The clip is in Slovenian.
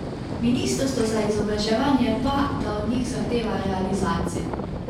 Ministrstvo za izobraževanje pa, da od njih zahteva realizacijo.